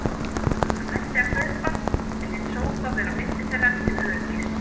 Hann hætti að hlaupa, en lét sófa vera á milli þeirra til öryggis.